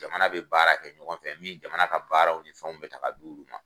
Jamana bɛ baara kɛ ɲɔgɔn fɛ min jamana ka baaraw ni fɛnw bɛɛ ta ka d'u ma